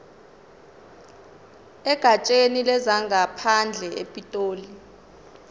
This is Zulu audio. egatsheni lezangaphandle epitoli